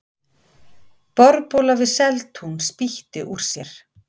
Borhola við Seltún spýtti úr sér